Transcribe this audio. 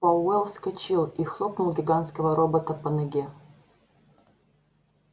пауэлл вскочил и хлопнул гигантского робота по ноге